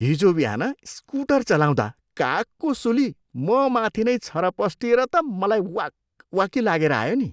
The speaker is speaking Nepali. हिजो बिहान स्कुटर चलाउँदा कागको सुली ममाथि नै छरपस्टिएर त मलाई वाकवाकी लागेर आयो नि।